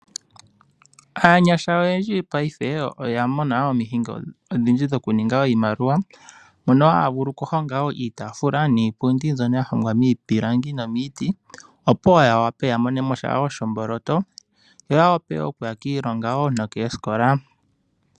Aanyasha oyendji yopaife oyamwena omihingo odhindji dhokuninga iinamaliwa mono haya vulu okuhonga iitaafula niipundi mbyono yahongwa miipilangi nomiiti opo wo yawape yamonemosha wo shomboloto yo yawape okuya kiilonga wo nokoosikola.